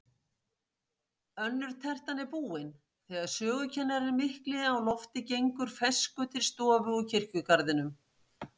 Önnur tertan er búin, þegar sögukennarinn mikli á lofti gengur ferskur til stofu úr kirkjugarðinum.